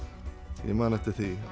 ég man eftir því